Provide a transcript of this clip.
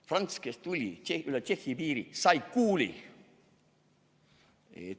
Franz, kes tuli üle Tšehhi piiri, sai kuuli.